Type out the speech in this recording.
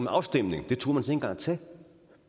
afstemning den turde man engang at tage